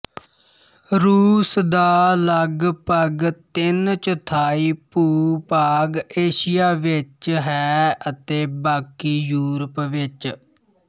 ਰੂਸ ਦਾ ਲਗਭਗ ਤਿੰਨ ਚੌਥਾਈ ਭੂਭਾਗ ਏਸ਼ੀਆ ਵਿੱਚ ਹੈ ਅਤੇ ਬਾਕੀ ਯੂਰਪ ਵਿੱਚ